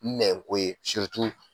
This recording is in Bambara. Nɛn ko ye